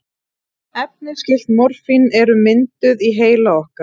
Efni skyld morfíni eru mynduð í heila okkar.